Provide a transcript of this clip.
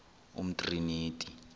umtriniti